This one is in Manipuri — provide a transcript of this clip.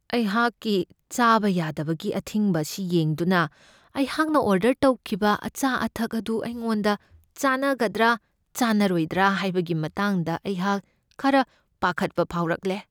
ꯑꯩꯍꯥꯛꯀꯤ ꯆꯥꯕ ꯌꯥꯗꯕꯒꯤ ꯑꯊꯤꯡꯕ ꯑꯁꯤ ꯌꯦꯡꯗꯨꯅ ꯑꯩꯍꯥꯛꯅ ꯑꯣꯔꯗꯔ ꯇꯧꯈꯤꯕ ꯑꯆꯥ ꯑꯊꯛ ꯑꯗꯨ ꯑꯩꯉꯣꯟꯗ ꯆꯥꯟꯅꯒꯗ꯭ꯔꯥ ꯆꯥꯟꯅꯔꯣꯏꯗ꯭ꯔꯥ ꯍꯥꯏꯕꯒꯤ ꯃꯇꯥꯡꯗ ꯑꯩꯍꯥꯛ ꯈꯔ ꯄꯥꯈꯠꯄ ꯐꯥꯎꯔꯛꯂꯦ꯫